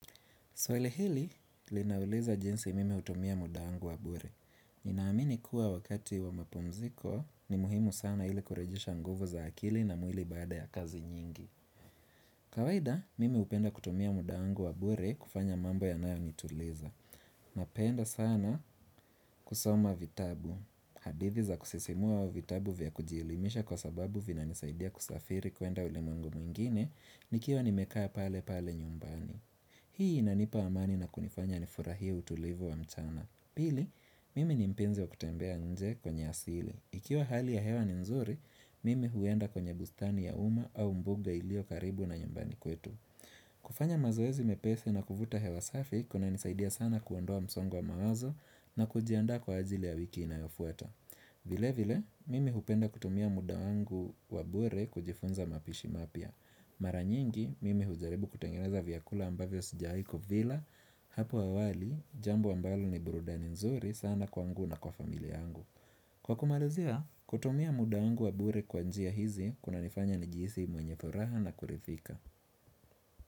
Swali hili, linauliza jinsi mimi hutumia muda wangu wabure. Ninaamini kuwa wakati wa mapumziko, ni muhimu sana ili kurejesha nguvu za akili na mwili baada ya kazi nyingi. Kawaida, mimi hupenda kutumia muda wangu wa bure kufanya mambo yanayo nituliza. Napenda sana kusoma vitabu. Hadithi za kusisimua vitabu vya kujielimisha kwa sababu vina nisaidia kusafiri kwenda ulimwengu mwingine, nikiwa nimekaa pale pale nyumbani. Hii inanipa amani na kunifanya nifurahie utulivu wa mchana. Pili, mimi nimpenzi wa kutembea nje kwenye asili. Ikiwa hali ya hewa ni nzuri, mimi huenda kwenye bustani ya uma au mbuga ilio karibu na nyumbani kwetu. Kufanya mazoezi mepesi na kuvuta hewa safi kuna nisaidia sana kuondoa msongo wa mawazo na kujiandaa kwa ajili ya wiki inayofuata. Vile vile mimi hupenda kutumia muda wangu wabure kujifunza mapishi mapya Maranyingi mimi hujaribu kutengeneza vyakula ambavyo sijawai kuvila Hapo awali jambo ambalo ni burudani nzuri sana kwangu na kwa familia yangu Kwa kumalazia kutumia muda wangu wabure kwa njia hizi kuna nifanya nijihisi mwenye furaha na kuridhika.